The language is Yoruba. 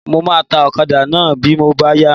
Mo máa ta ọ̀kadà náà bí ó bá yá.